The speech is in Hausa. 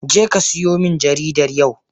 Jeka siyo min jaridar yau!